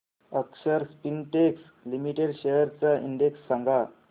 अक्षर Spintex limited shares चा index सांगा